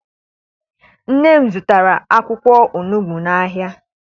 Nne m zụtara akwụkwọ onugbu n'ahia.